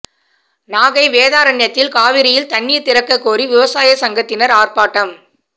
நாகை வேதாரண்யத்தில் காவிரியில் தண்ணீர் திறக்க கோரி விவசாய சங்கத்தினர் ஆர்ப்பாட்டம்